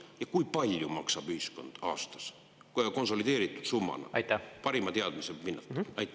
Ja kui palju maksab ühiskond aastas, konsolideeritud summana, parima teadmise pinnalt?